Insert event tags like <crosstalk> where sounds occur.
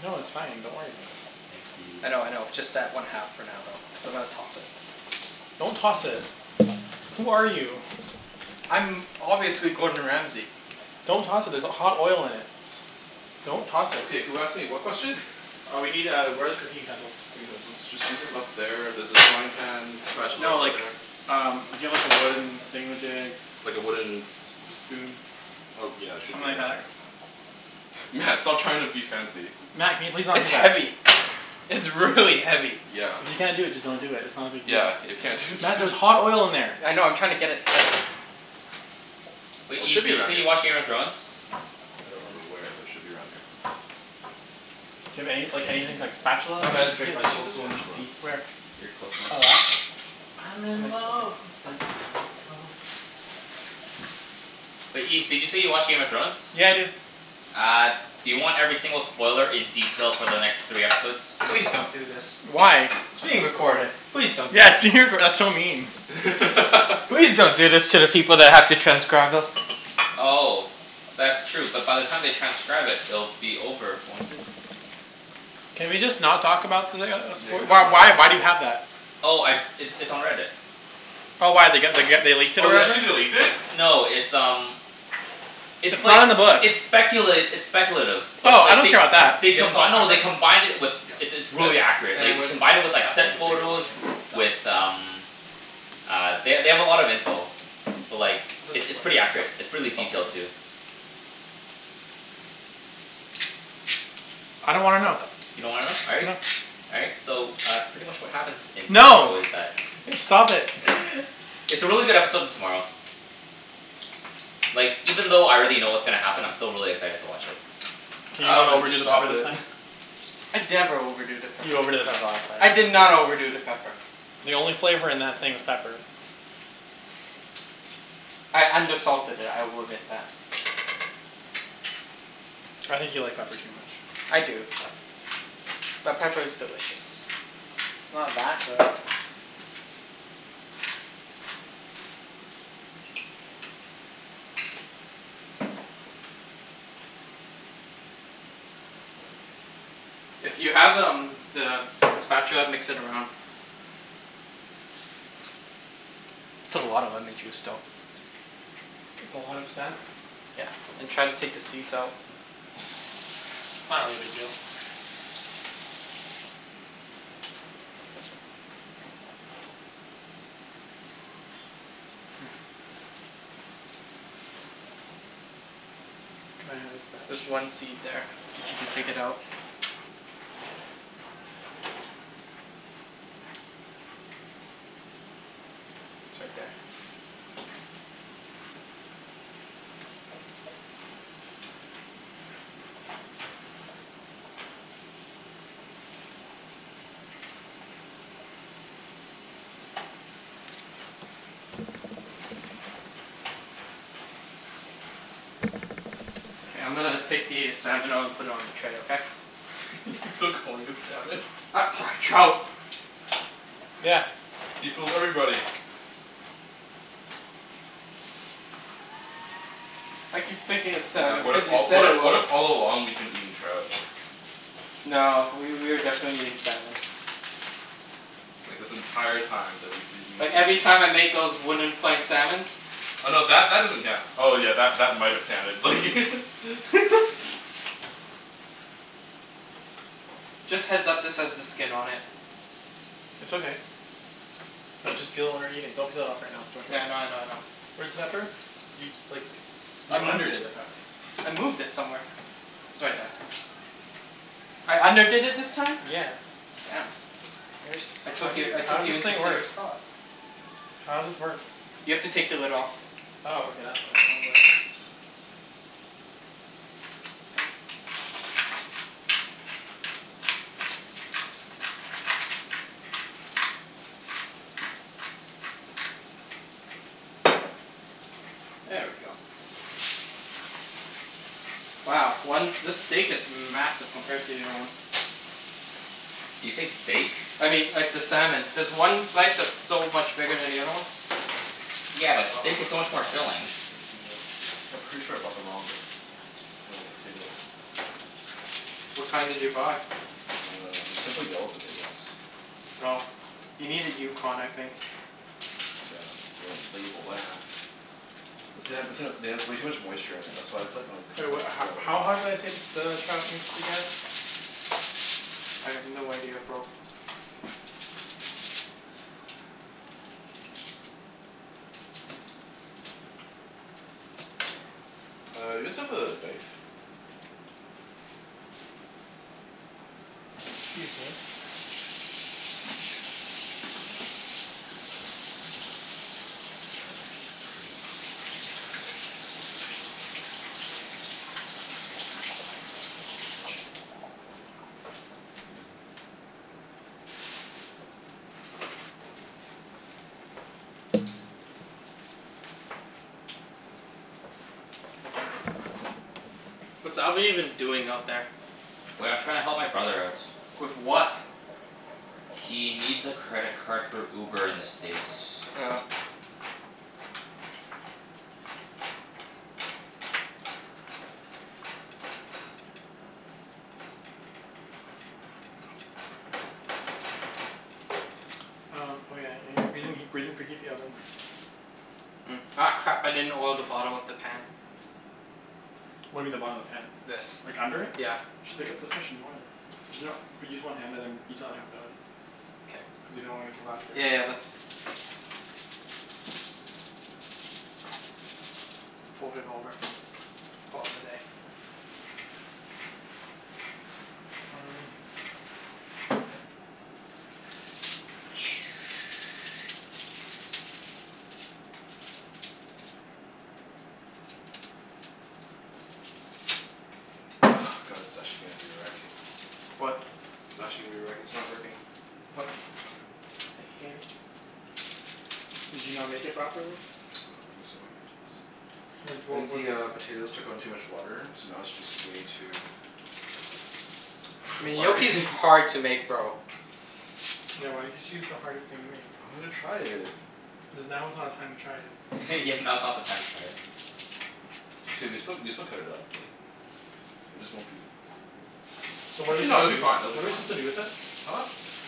No, it's fine. Don't worry about it. Thanks, I dude. know, I know. Just add one half <noise> for now though, cuz I'm gonna toss it. Don't toss it. Who are you? I'm obviously Gordon Ramsey. Don't toss it, there's h- hot oil in it. Don't toss it. Okay, who asked me what question? Uh we need uh, where are the cooking utensils? Utensils. Just use them, up there, there's a frying pan spatula No over like, there. um we need a wooden thingamajig. Like a wooden S- a spoon. Oh, yeah, should Something be right like that? here. Mat, stop trying to be fancy. Mat, can you please not do It's that? heavy. It's really heavy. Yeah. If you can't do it, just don't do it. It's not a big Yeah, deal. if you can't do it just Mat, d- there's hot oil in there. I know. I'm trying to get it centered. Wait, It Ibs, should did be you say around here. you watch Game of Thrones? I don't remember where, but it should be around here. Do you have any like, anything like spatula I'm gonna Just, maybe? drink yeah, my just use a cocoa in this spatula. peace. Where? Your cocoa in Oh, peace? that? I'm Oh in nice. Okay. love with the cocoa. But Ibs, did you say you watch Game of Thrones? Yeah, I do. Uh, do you want every single spoiler in detail for the next three episodes? Please don't do this. Why? It's being recorded. Please don't do this. Yes, you did, but that's so mean. <laughs> Please don't do this to the people that have to transcribe us. Oh. That's true. But by the time they transcribe it it'll be over, won't it? Can we just not talk about the uh as- Yeah, can w- we just why not talk why do about you it? have that? Oh, I, it's it's on Reddit. Oh, why? They g- they g- they leaked it Oh, they already? actually, they leaked it? No, it's um it's It's like, not in the book. it's speculat- it's speculative. But Oh, I like, don't they care 'bout that. they Do you have combi- salt no, they pepper? combined it with Yep, It's it's right there. This? really accurate. Like, And they where's the There. combine pepper? it with like, That thing? set The bigger one, photos yeah. Got it. with um uh, they they have a lot of info. But like, How does it's this it's work? pretty Yep, accurate. It's preally salt pepper. detailed, too. I don't wanna know. What the You don't wanna know? All right. No. All right. So, uh, pretty much what happens in tomorrow No! is that <laughs> Stop it. <laughs> It's a really good episode in tomorrow. Like, even though I already know K. what's gonna happen, I'm still really excited to watch it. Can you not Alvin, overdo just the pepper stop this it. time? <noise> I never overdo the pepper. You overdid it last time. I did not overdo the pepper. The only flavor in that thing was pepper. I undersalted it. I will admit that. I think you like pepper too much. I do. But pepper is delicious. It's not that good. If you have um the spatula mix it around. That's a lot of lemon juice though. It's a lot of salmon. Yeah, and try to take the seeds out. It's not really a big deal. Yeah. Here. Can I have a There's spatch? one seed there. If you could take it out. It's right there. K, I'm gonna take the salmon out and put it on the tray, okay? <laughs> He's still calling it salmon. U- sorry, trout. Yeah. See? Fools everybody. I keep thinking it's Mat, salmon what if because you all, said what it i- what was. if all along we've been eating trout? No, w- we were definitely eating salmon. Like this entire time that we've been eating Like, every sushi time I made those wooden plank salmons. Oh no, that that doesn't count. Oh yeah, that that might have counted, like <laughs> <laughs> Just heads up, this has the skin on it. It's okay. We'll just peel when we're eating. Don't cut it off right now. It's too much work. Yeah, I know I know I know. Where's the pepper? You, like, S- s- I you moved underdid it. the pepper. I moved it somewhere. It's right there. I underdid it this time? Yeah. Damn. Where's, I how took do you- you, I took how's you this into thing work? serious thought. How's this work? You have to take the lid off. Oh, okay. That's why. I was like <noise> There we go. Wow. One, this steak is massive compared to the other one. Did you say steak? I mean, like, the salmon. There's one slice that's so much bigger than the other one. Yeah, but Oh, steak is so much more god, this filling. is way too wet. Yeah, pretty sure I bought the wrong po- t- t- uh, potatoes. What kind did you buy? Uh, they're simply yellow potatoes. Oh. You needed Yukon, I think. Yeah, they didn't label that. This thing ha- this thing ha- it has way too much moisture in it. That's why it's like, not Wait, coming what <inaudible> ho- together. how hot did I say the s- the trout needs to get? I have no idea, bro. <noise> Uh, you guys have the knife? Excuse me. Yep, this is way too <inaudible> <noise> What's Alvin even doing out there? Wait, I'm trying to help my brother out. With what? He needs a credit card for Uber in the States. Oh. Um, oh yeah. Y- we didn't he- we didn't preheat the oven. Hmm. Ah, crap. I didn't oil the bottom of the pan. What do you mean the bottom of the pan? This. Like, under it? Yeah. Just pick up the fish and oil it. There's no but use one hand and then use the other hand for the other one. K. Cuz you don't wanna get the Yeah yeah yeah, <inaudible> that's Fold it over. Call it a day. Mm. <noise> Ah, god it's actually gonna be a wreck. What? It's actually gonna be a wreck. It's not working. What? The hell. Did you not make it properly? <noise> I don't think so. It's What I wa- think the what's uh, potatoes took on too much water so now it's just way too <noise> I <laughs> mean, watery. <laughs> gnocchi's hard to make, bro. Yeah, why did you choose the hardest thing to make? I wanted to try it. Cuz now is not a time to try it. <laughs> Yeah, now's not the time to try it. It's gonna be still, we can still cut it up, like It just won't be So what are su- Actually no, it'll be do, fine. It'll what be are we fine. supposed to do with it? Huh?